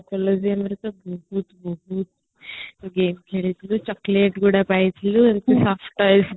ହଁ collegeରେ ଟା ବହୁତ game ଖେଳିଥିଲୁ chocolate ଗୁଡାକ ପାଇଥିଲୁ ଏମିତି surprise ଥିଲା